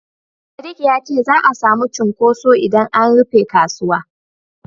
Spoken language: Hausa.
Sadik ya ce za'a samu cunkoso idan an rufe kasuwa.